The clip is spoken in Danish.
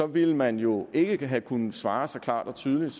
ville man jo ikke have kunnet svare så klart og tydeligt